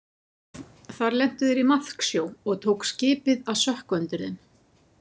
Þar lentu þeir í maðksjó og tók skipið að sökkva undir þeim.